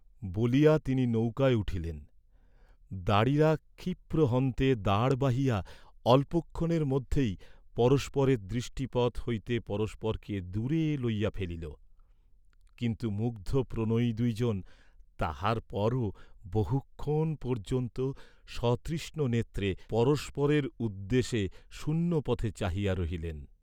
বলিয়া তিনি নৌকায় উঠিলেন, দাঁড়িরা ক্ষিপ্রহন্তে দাঁড় বাহিয়া অল্প ক্ষণের মধ্যেই পরস্পরের দৃষ্টিপথ হইতে পরস্পরকে দূরে লইয়া ফেলিল; কিন্তু মুগ্ধ প্রণয়ী দুই জন তাহার পরও বহুক্ষণ পর্য্যন্ত সতৃষ্ণনেত্রে পরস্পরের উদ্দেশে শূন্য পথে চাহিয়া রহিলেন।